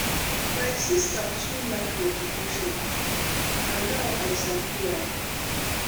my sister too like meditation na now i sabi why.